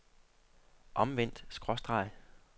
omvendt skråstreg